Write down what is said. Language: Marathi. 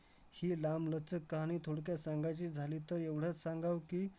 ही लांबलचक थोडक्यात सांगायची झाली तर एवढंच सांगावं की,